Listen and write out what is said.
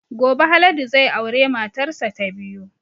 Gobe Haladu zai aure matar sa ta biyu